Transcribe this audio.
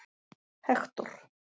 Hektor